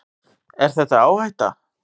Er þetta áhætta?